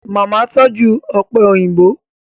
Màmá tọ́jú ọ̀pẹ̀ òyìnbó